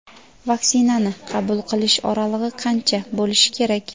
Vaksinani qabul qilish oralig‘i qancha bo‘lishi kerak?.